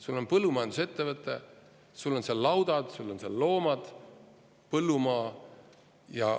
Sul on põllumajandusettevõte, sul on seal laudad, sul on seal loomad, põllumaa.